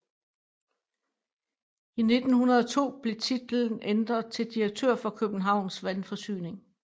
I 1902 blev titlen ændret til direktør for Københavns Vandforsyning